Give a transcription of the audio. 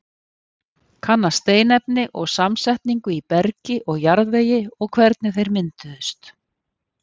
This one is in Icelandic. Kanna steinefni og samsetningu í bergi og jarðvegi og hvernig þeir mynduðust.